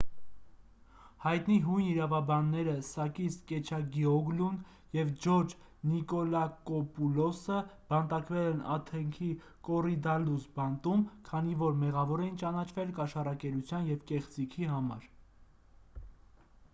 հայտնի հույն իրավաբանները սակիս կեչագիոգլուն և ջորջ նիկոլակոպուլոսը բանտարկվել են աթենքի կոռիդալլուս բանտում քանի որ մեղավոր էին ճանաչվել կաշառակերության և կեղծիքի համար